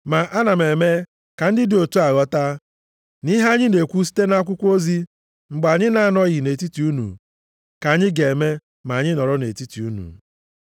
Ma ana m eme ka ndị dị otu a ghọta na ihe anyị na-ekwu site nʼakwụkwọ ozi mgbe anyị na-anọghị nʼetiti unu, ka anyị ga-eme ma anyị nọrọ nʼetiti unu.